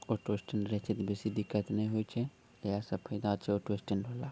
auto stand रहे छे त बेसी दिक्कत न होये छे | यह सब चौराहा पे ऑटो स्टैंड होला |